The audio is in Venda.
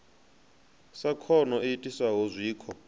sa khono i itisaho zwikho